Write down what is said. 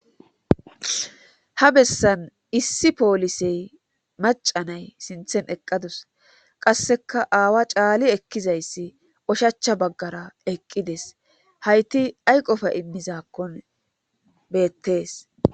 Ha bessan issi poolisey macanay sinthen eqqadus qasseka aawa caali ekkizayssi oshacha baggara eqqides hayti ay qofa immizakkon beettees